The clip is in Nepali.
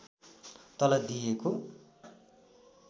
तल दिएको